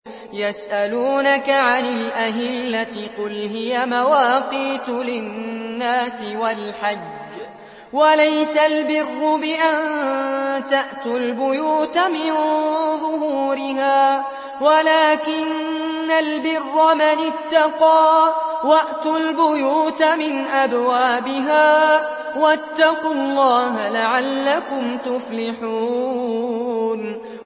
۞ يَسْأَلُونَكَ عَنِ الْأَهِلَّةِ ۖ قُلْ هِيَ مَوَاقِيتُ لِلنَّاسِ وَالْحَجِّ ۗ وَلَيْسَ الْبِرُّ بِأَن تَأْتُوا الْبُيُوتَ مِن ظُهُورِهَا وَلَٰكِنَّ الْبِرَّ مَنِ اتَّقَىٰ ۗ وَأْتُوا الْبُيُوتَ مِنْ أَبْوَابِهَا ۚ وَاتَّقُوا اللَّهَ لَعَلَّكُمْ تُفْلِحُونَ